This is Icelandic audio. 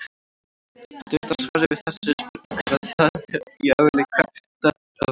Stutta svarið við þessari spurningu er að það er í eðli katta að veiða.